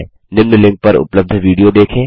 निम्न लिंक पर उपलब्ध विडियो देखें